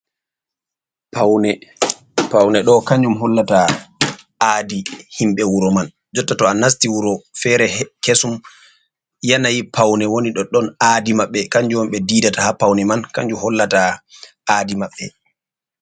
Paune ɗo kanjum hollata aadi himɓɓe wuro man, jotta to a nasti wuro fere kesum yanayi paune woni ɗo ɗon aadi maɓɓe, kanjum on ɓe didata ha paune man kanjum hollata aadi maɓɓe.